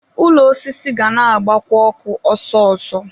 ụlọ osisi ga na-agbakwa ọkụ ọsọ ọsọ